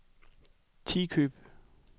Tikøb